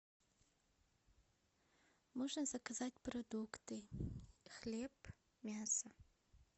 можно заказать продукты хлеб мясо